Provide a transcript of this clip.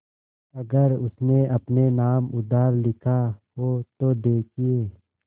अगर उसने अपने नाम उधार लिखा हो तो देखिए